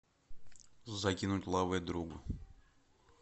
закинуть лаве другу